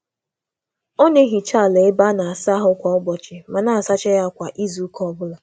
Ọ na-asacha ala ime ụlọ ịsa um ahụ kwa ụbọchị ma um na-emecha um ya ya kwa izu